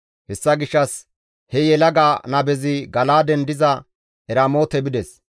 Hessa gishshas he yelaga nabezi Gala7aaden diza Eramoote bides.